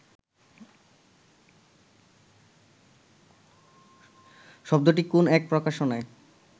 শব্দটি কোন এক প্রকাশনায়